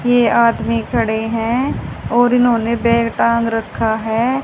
ये आदमी खड़े हैं और इन्होंने बैग टांग रखा है।